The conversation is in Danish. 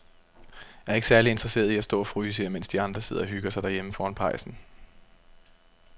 Jeg er ikke særlig interesseret i at stå og fryse her, mens de andre sidder og hygger sig derhjemme foran pejsen.